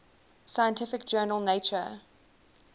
scientific journal nature